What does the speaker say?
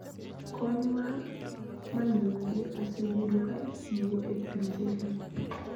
Kony mar manyonge osebedo ka ichiwo e pinjegi: